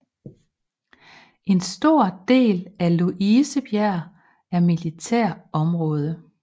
En stor del af Louisebjerg er militærområde